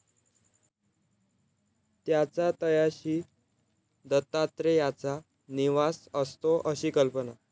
त्याच्या तळाशी दत्तात्रेयाचा निवास असतो अशी कल्पना.